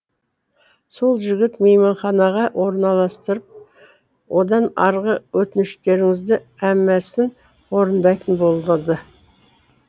сол жігіт мейманханаға орналастырып одан арғы өтініштеріңіздің әммәсін орындайтын болдырды